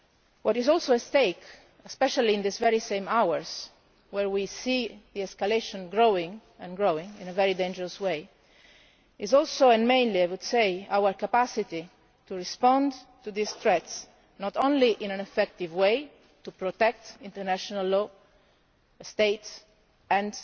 What is also at stake, especially in these very same hours where we see the escalation constantly growing in a very dangerous way, is also and mainly, I would say our capacity to respond to these threats, not only in an effective way to protect international law, states and